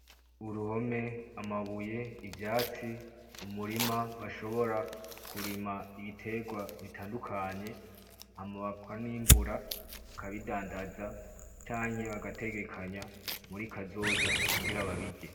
Uruhome, amabuye, ivyatsi, umurima bashobora kurima ibiterwa bitandukanye Hama bakanimbura bakabidandaza canke bagategekanya muri kazoza kugira babirye.